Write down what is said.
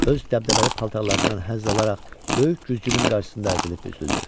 Öz dəbdəbəli paltarlarından həzz alaraq böyük güzgünün qarşısında əzilib büzüldü.